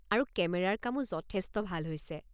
আৰু কেমেৰাৰ কামো যথেষ্ট ভাল হৈছে।